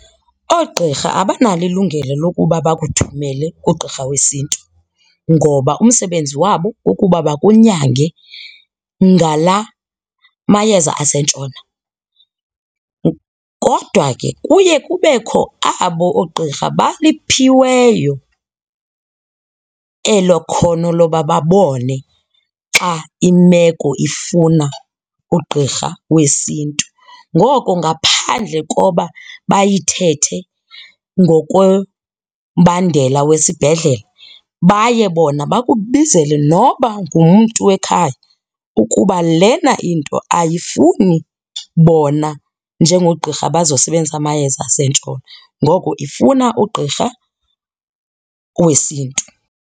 Oogqirha abanalo ilungelo lokuba bakuthumele kugqirha wesiNtu ngoba umsebenzi wabo kukuba bakunyange ngala mayeza asentshona. Kodwa ke kuye kubekho abo oogqirha baliphiweyo elo khono loba babone xa imeko ifuna ugqirha wesiNtu. Ngoko ngaphandle koba bayithethe ngokombandela wesibhedlele baye bona bakubizele noba ngumntu wekhaya ukuba lena into ayifuni bona njengoogqirha bazosebenzisa amayeza asentshona, ngoko ifuna ugqirha wesiNtu.